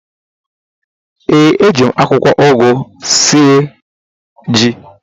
ee, eji m akwụkwọ ugu sie m yam.